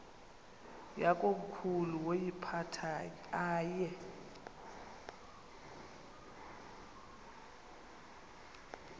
yakomkhulu woyiphatha aye